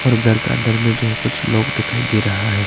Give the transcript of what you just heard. और घर का अंदर में जो है कुछ लोग दिखाई दे रहा है।